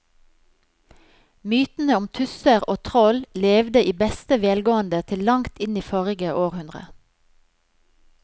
Mytene om tusser og troll levde i beste velgående til langt inn i forrige århundre.